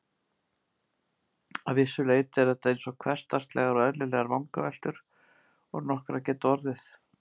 Að vissu leyti eru þetta eins hversdagslegar og eðlilegar vangaveltur og nokkrar geta orðið.